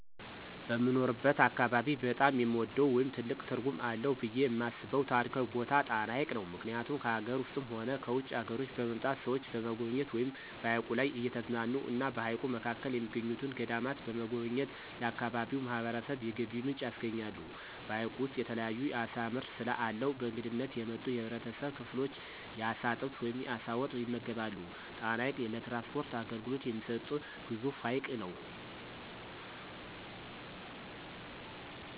በምኖርበት አካባቢ በጣም የምወደው ወይም ትልቅ ትርጉም አለው ብየ የማስበው ታሪካዊ ቦታ ጣና ሀይቅ ነው። ምክኒያቱም ከአገር ውስጥም ሆነ ከውጭ አገሮች በመምጣት ሰዎች በመጎብኘት ወይም በሀይቁ ላይ እየተዝናኑ እና በሀይቁ መካከል የሚገኙትን ገዳማት በመጎብኘት ለአካባቢው ማህበረሰብ የገቢ ምንጭ ያስገኛል። በሀይቁ ውስጥ የተለያዩ የአሳ ምርት ስለአለው በእንግድነት የመጡ የህብረተሰብ ክፍሎች የአሳ ጥብስ ወይም የአሳ ወጥ ይመገባሉ። ጣና ሀይቅ ለትራንስፖርት አገልግሎት የሚሰጥ ግዙፍ ሀይቅ ነው።